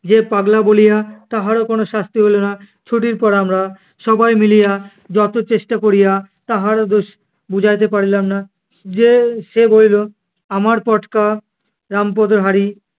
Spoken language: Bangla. যে পাগলা বলিয়া তাহারও কোনো শাস্তি হইলো না। ছুটির পর আমরা সবাই মিলিয়া যত চেষ্টা করিয়া তাহারও দোষ বুঝাইতে পারিলাম না যে~ সে বলিল, আমার পটকা রামপদের হাঁড়ি